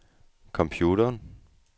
computeren